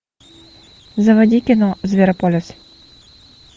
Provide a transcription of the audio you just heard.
заводи кино зверополис